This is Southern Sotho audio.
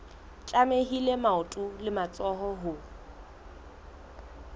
tlamehile maoto le matsoho ho